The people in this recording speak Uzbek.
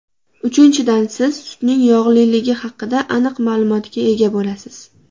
Uchinchidan, siz sutning yog‘liligi haqida aniq ma’lumotga ega bo‘lasiz.